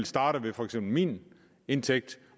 starte ved for eksempel min indtægt